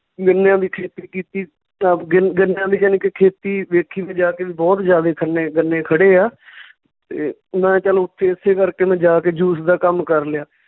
ਗੰਨਿਆਂ ਦੀ ਖੇਤੀ ਕੀਤੀ ਗੰਨਿਆਂ ਦੀ ਜਾਣੀ ਕਿ ਖੇਤੀ ਵੇਖੀ ਵੀ ਜਾ ਕੇ ਵੀ ਬਹੁਤ ਜਿਆਦਾ ਖੰਨੇ ਗੰਨੇ ਖੜ੍ਹੇ ਆ ਤੇ ਮੈਂ ਚੱਲ ਉੱਥੇ ਓਸੇ ਕਰਕੇ ਮੈਂ ਜਾ ਕੇ juice ਦਾ ਕੰਮ ਕਰ ਲਿਆ।